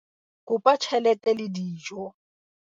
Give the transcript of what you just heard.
kopa tjhelete le dijo